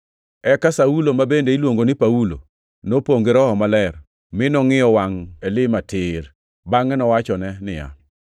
Eka Saulo, ma bende niluongo ni Paulo, nopongʼ gi Roho Maler, mi nongʼiyo wangʼ Elima tir, bangʼe owachone niya,